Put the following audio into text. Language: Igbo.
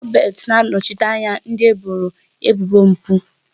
Robert na-anọchite anya ndị eboro ebubo mpụ.